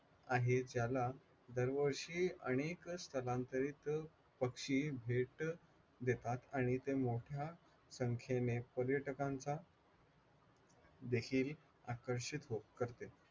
आहे ज्याला दरवर्षी आणेल स्थलांतरित पक्षी भेट देतात आणि ते मोठ्या संख्येने पर्यटकांचा देखील आकर्षित करते